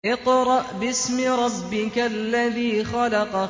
اقْرَأْ بِاسْمِ رَبِّكَ الَّذِي خَلَقَ